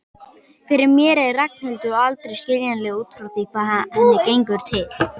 Fyrir mér er Ragnhildur aldrei skiljanleg út frá því hvað henni gengur til.